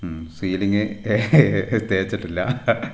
മ് സീലിങ് തേച്ചട്ടില്ല --